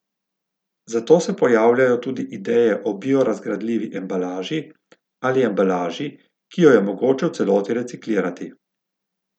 Zato se pojavljajo tudi ideje o biorazgradljivi embalaži ali embalaži, ki jo je mogoče v celoti reciklirati.